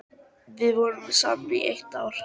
Við vorum saman í eitt ár.